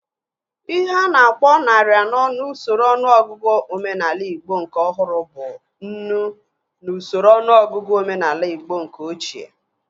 Ihe a na-akpọ narị anọ n'usoro ọnụọgụgụ omenaala igbo nke ọhụrụ bụ nnu n'usoro ọnụọgụgụ omenaala igbo nke ochie